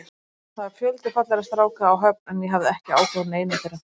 Það var fjöldi fallegra stráka á Höfn en ég hafði ekki áhuga á neinum þeirra.